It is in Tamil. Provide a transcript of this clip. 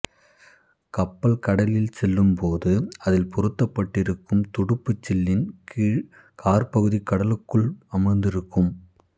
கப்பல் கடலில் செல்லும்போது அதில் பொருத்தப்பட்டிருக்கும் துடுப்புச்சில்லின் கீழ் காற்பகுதி கடலுக்குள் அமிழ்ந்திருக்கும்